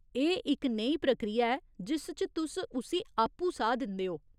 एह् इक नेही प्रक्रिया ऐ जिस च तुस उस्सी आपूं साह् दिंदे ओ।